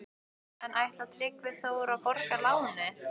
En ætlar Tryggvi Þór að borga lánið?